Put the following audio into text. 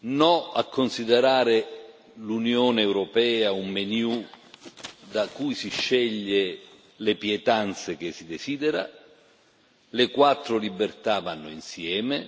No a considerare l'Unione europea un menù da cui si sceglie le pietanze che si desidera le quattro libertà vanno insieme.